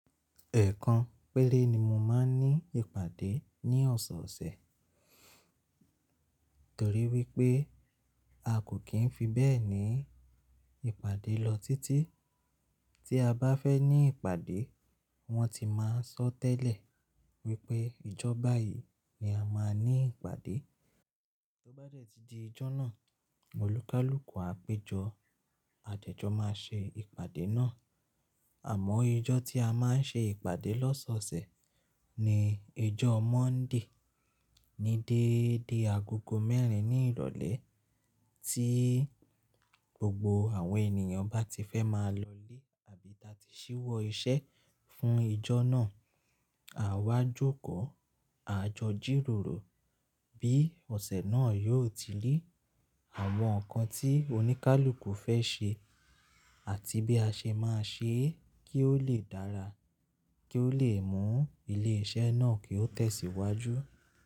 Ẹ̀ẹ̀kan péré ni mo máa ń ní ìpàdé ní ọ̀sọ̀ọ̀sẹ̀, torí wípé a kò kì í fi bẹ́ẹ̀ ní ìpàdé lọ títí tí a bá fẹ́ ní ìpàdé. Wón ti máa ń sọ tẹ́lẹ̀ wípé ìjọ bayìí ni a máa ní ìpàdé. Tó bá dẹ̀ tí di ijọ́ náà, olúkúlùkù àpéjọ àdẹ́ jọ̀ máa ṣe ìpàdé náà. Àmọ́ ijọ́ tí a máa ń ṣe ìpàdé lọ́sọ̀ọ̀sẹ̀ ni ijọ́ Monday ní dédé agogo mẹ́rin ní ìrọ́lẹ̀ tí gbogbo àwọn ènìyàn bá ti fẹ́ máa lọlé àbí ta tí ṣíwọ́ iṣẹ́ fún ijọ́ náà. À wá jókòó, à jọ jíròrò bí ọ̀sẹ̀ náà yóò ti ri, àwọn nǹkan tí oníkálukú fẹ́ ṣe àti bí a ṣe máa ṣe é kí ó lè dára, kí ó lè mú ilé iṣẹ́ náà kí ó tẹ̀sìwájú.